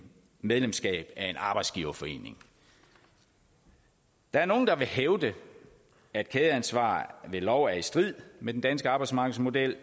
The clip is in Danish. medlemskab af en arbejdsgiverforening der er nogle der vil hævde at kædeansvar ved lov er i strid med den danske arbejdsmarkedsmodel